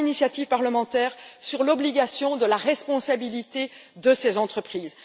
Pas d'initiatives parlementaires sur l'obligation de la responsabilité de ces entreprises.